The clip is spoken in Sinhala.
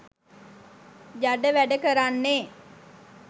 ජඩ වැඩ කරන්නේ